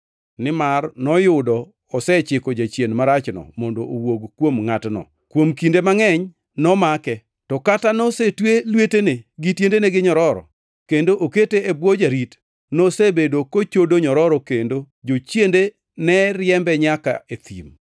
Nimar noyudo Yesu osechiko jachien marachno mondo owuog kuom ngʼatno. Kuom kinde mangʼeny nomake, to kata nosetwe lwetene, gi tiendene gi nyororo, kendo okete e bwo jarit, nosebedo kochodo nyororo kendo jochiende ne riembe nyaka e thim.